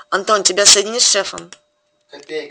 антон тебя соединить с шефом